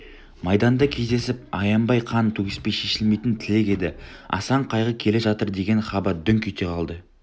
майданда кездесіп аянбай қан төгіспей шешілмейтін тілек еді асан қайғы келе жатырдеген хабар дүңк ете қалды